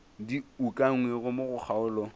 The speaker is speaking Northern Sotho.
di ukangwego mo go kgaolo